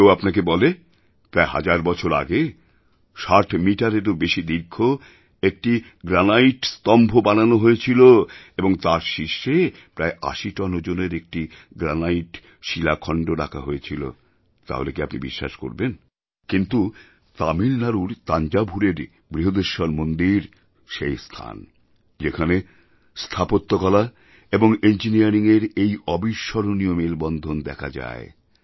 যদি কেউ আপনাকে বলে প্রায় হাজার বছর আগে ৬০ মিটারেরও বেশি দীর্ঘ একটি গ্রানাইট স্তম্ভ বানানো হয়েছিল এবং তার শীর্ষে প্রায় ৮০ টন ওজনের একটি গ্রানাইট শিলাখন্ড রাখা হয়েছিল তাহলে কি আপনি বিশ্বাস করবেন কিন্তু তামিলনাড়ুর তাঞ্জাভুরএর বৃহদেশ্বর মন্দির সেই স্থান যেখানে স্থাপত্যকলা এবং ইঞ্জিনিয়ারিংয়ের এই অবিস্মরণীয় মেলবন্ধন দেখা যায়